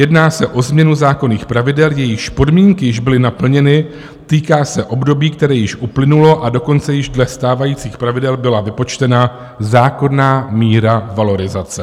Jedná se o změnu zákonných pravidel, jejichž podmínky již byly naplněny, týká se období, které již uplynulo, a dokonce již dle stávajících pravidel byla vypočtena zákonná míra valorizace.